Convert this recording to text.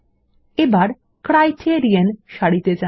এবার ক্রাইটেরিয়ন সারিতে যান